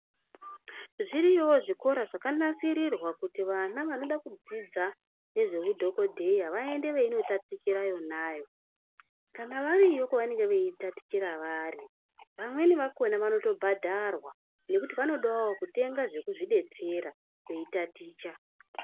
Zviriyowo zvikora zvakanasirwa kuti vana vanoenda vasina kudzidziswa nezvehudhokodheya vaende kondotatichira vona avo kana variyo kwavanenge veitatichira vari vamweni vakona vanobhadharwabnekutinvanenge veida kudetserwa nevana.